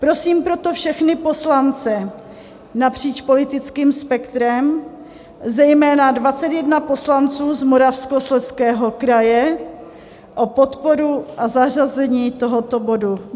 Prosím proto všechny poslance napříč politickým spektrem, zejména 21 poslanců z Moravskoslezského kraje, o podporu a zařazení tohoto bodu.